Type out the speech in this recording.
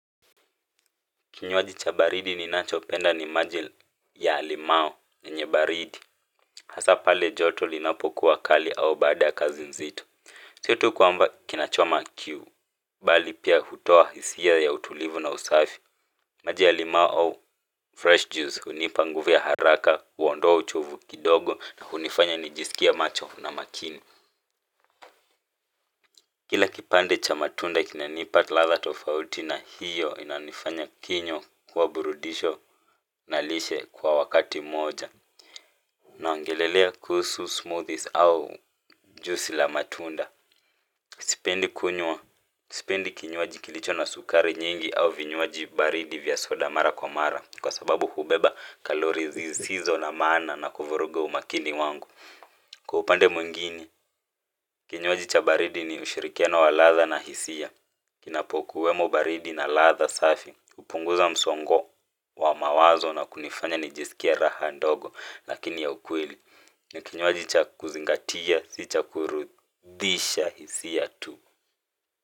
Kinywaji cha baridi ninachopenda ni maji ya limao yenye baridi hasa pale joto linapo kuwa kali au baada kazi nzito sio tu kwamba kinachoma kiu bali pia hutoa hisia ya utulivu na usafi maji ya limao au fresh juice hunipa nguvu ya haraka huondoa uchovu kidogo na hunifanya nijisikie macho na makini kile kipande cha matunda kinanipa ladha tofauti na hiyo inanifanya kinyo kuwa burudisho na lishe kwa wakati moja. Naongelelea kuhusu smoothies au juisi la matunda sipendi kinywaji kilicho na sukari nyingi au vinywaji baridi vya soda mara kwa mara kwa sababu hubeba kalori zisizo na maana na kuvuruga umakini wangu kwa upande mwingini, kinywaji cha baridi ni ushirikiano wa ladha na hisia. Kinapokuwemo baridi na ladha safi hupunguza msongo wa mawazo na kunifanya nijisikie raha ndogo lakini ya ukweli ni kinywaji cha kuzingatia, si cha kurudisha hisia tu.